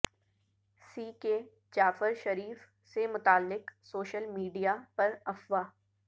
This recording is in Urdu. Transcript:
سی کے جعفر شریف سے متعلق سوشل میڈیا پر افواہ